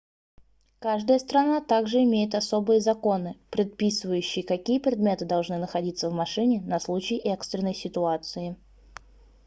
каждая страна также имеет особые законы предписывающие какие предметы должны находится в машине на случай экстренной ситуации